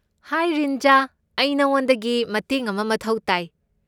ꯍꯥꯏ ꯔꯤꯟꯖꯥ, ꯑꯩ ꯅꯉꯣꯟꯗꯒꯤ ꯃꯇꯦꯡ ꯑꯃ ꯃꯊꯧ ꯇꯥꯏ꯫